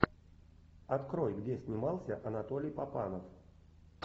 открой где снимался анатолий папанов